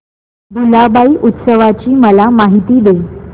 भुलाबाई उत्सवाची मला माहिती दे